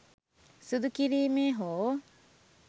සුදු කිරීමේ හෝ